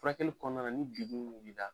Furakɛli kɔnɔna na ni juru min